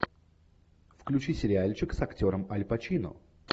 включи сериальчик с актером аль пачино